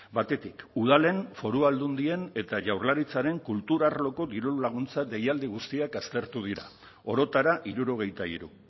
batetik udalen foru aldundien eta jaurlaritzaren kultur arloko dirulaguntza deialdi guztiak aztertu dira orotara hirurogeita hiru